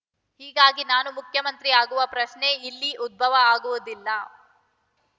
ಹೀಗಾಗಿ ನಾನು ಮುಖ್ಯಮಂತ್ರಿ ಆಗುವ ಪ್ರಶ್ನೆ ಇಲ್ಲಿ ಉದ್ಭವ ಆಗುವುದಿಲ್ಲ